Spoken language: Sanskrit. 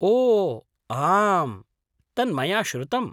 ओ आम्, तन्मया श्रुतम्।